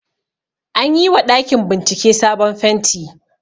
Anyi wa ɗakin bincike sabon fenti